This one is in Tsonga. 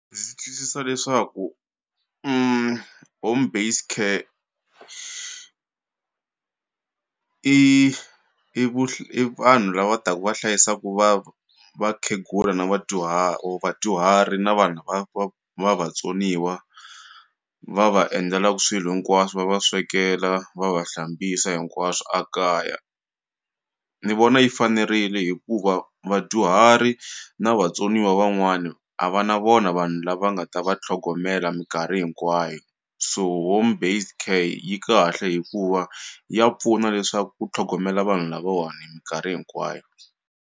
Ndzi twisisa leswaku home based care i i vanhu lava taku va hlayisaku va vakhegula na or vadyuhari na vanhu lava va va vatsoniwa va va endlelaku swilo hinkwaswo va va swekela va va hlambisa hinkwaswo a kaya ni vona yi fanerile hikuva vadyuhari na vatsoniwa van'wana a va na vona vanhu lava nga ta va tlhogomela minkarhi hinkwayo so home based care yi kahle hikuva ya pfuna leswaku ku tlhogomela vanhu lavawani hi minkarhi hinkwayo.